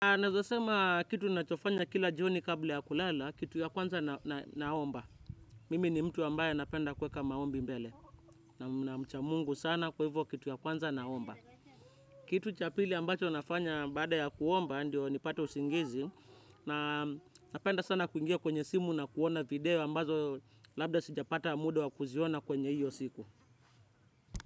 Naweza sema, kitu nachofanya kila jioni kabla ya kulala, kitu ya kwanza naomba. Mimi ni mtu ambaye napenda kuweka maombi mbele. Na mcha mungu sana kwa hivyo kitu ya kwanza naomba. Kitu cha pili ambacho nafanya baada ya kuomba ndio nipate usingizi. Napenda sana kuingia kwenye simu na kuona video ambazo labda sijapata muda wa kuziona kwenye hiyo siku.